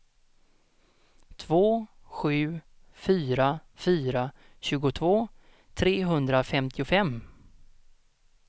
två sju fyra fyra tjugotvå trehundrafemtiofem